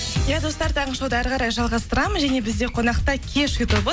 иә достар таңғы шоуды әрі қарай жалғастырамыз және бізде қонақта кешью тобы